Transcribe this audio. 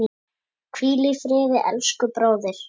Hvíl í friði elsku bróðir.